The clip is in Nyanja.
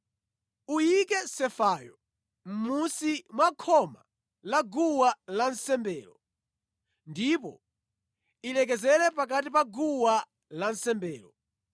Uyike sefayo mmunsi mwa khoma la guwa lansembelo, ndipo ilekezere pakati pa guwa lansembelo.